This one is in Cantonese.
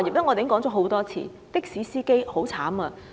我認識很多的士司機。